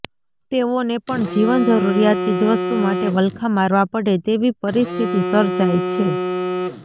તેઓને પણ જીવન જરૃરીયાત ચીજવસ્તુ માટે વલખા મારવા પડે તેવી પરિસ્થિતિ સર્જાઇ છે